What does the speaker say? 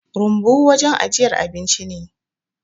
Rumbu wajen ajiyar abinci ne